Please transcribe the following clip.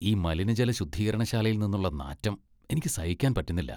ഈ മലിനജല ശുദ്ധീകരണശാലയിൽ നിന്നുള്ള നാറ്റം എനിക്ക് സഹിക്കാൻ പറ്റുന്നില്ല.